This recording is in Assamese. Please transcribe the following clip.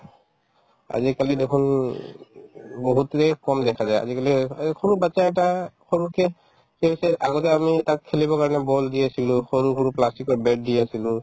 আজিকালি দেখুন বহুতৰে কম দেখা যায় আজিকালি এই সৰু batches এটা সৰুকে আগতে আমি তাক খেলিবৰ কাৰণে ball দি আছিলো সৰু সৰু plastic ৰ bat দি আছিলো